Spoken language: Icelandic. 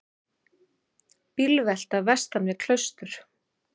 Bílvelta vestan við Klaustur